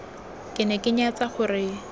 ke ne ke nyatsa gore